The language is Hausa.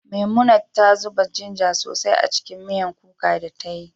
Memunant ta zuba ginger sosai a cikin miyan kuka da ta yi